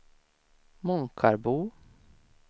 Månkarbo